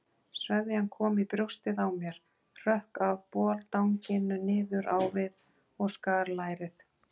Sveðjan kom í brjóstið á mér, hrökk af boldanginu niður á við og skar lærið.